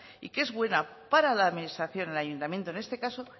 y que es buena para la administración el ayuntamiento en este caso